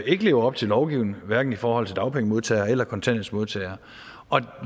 ikke lever op til lovgivningen hverken i forhold til dagpengemodtagere eller kontanthjælpsmodtagere